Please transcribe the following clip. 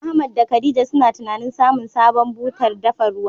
Ahmad da khadija suna tunanin samun sabon butar dafa ruwa.